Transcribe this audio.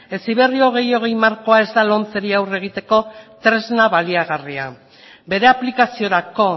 heziberri bi mila hogei markoa ez da lomceri aurre egiteko tresna baliagarria bere aplikaziorako